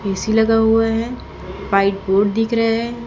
AC लगा हुआ है व्हाइट बोर्ड दिख रहे हैं।